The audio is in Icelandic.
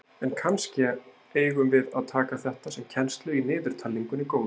En kannske eigum við að taka þetta sem kennslu í niðurtalningunni góðu.